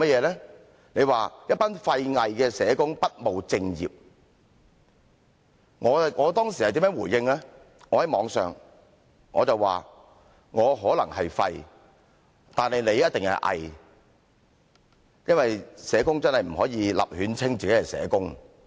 你說："一班廢偽的社工，不務正業"。我當時如何回應，我在網上回應，"我可能是廢，但你一定是偽"，因為真的不可以隨便自稱社工。